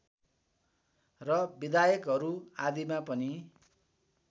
र विधायकहरू आदिमा पनि